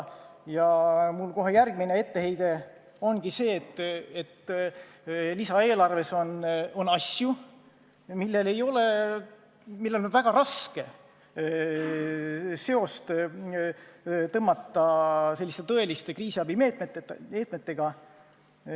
Mul kohe järgmine etteheide ongi see, et lisaeelarves on asju, mille puhul on väga raske näha seost tõeliste kriisiabimeetmetega.